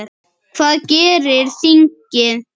Hvað gerir þingið?